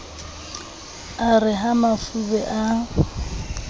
e re ha mafube a